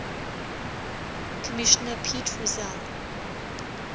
commissioner pete rozelle